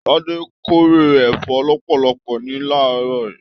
Tade k'ore ẹfọ lọpọlọpọ ní laarọ.